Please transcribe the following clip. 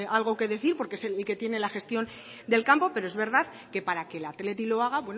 algo que decir porque es el que tiene la gestión del campo pero es verdad que para que el athletic lo haga